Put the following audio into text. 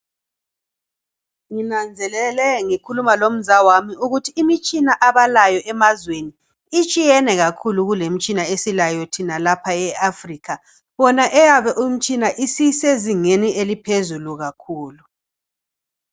Nginanzelele ngikhuluma lomzawami ukuthi imitshina yemazweni itshiyene kakhulu lemitshina esilayo lapha u Afrikha . Eyabo imitshina isisezingeni eliphezulu kakhulu.